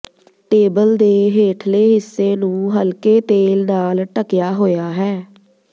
table ਦੇ ਹੇਠਲੇ ਹਿੱਸੇ ਨੂੰ ਹਲਕੇ ਤੇਲ ਨਾਲ ਢਕਿਆ ਹੋਇਆ ਹੈ